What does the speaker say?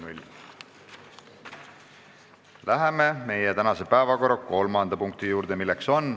Läheme tänase päevakorra kolmanda punkti juurde.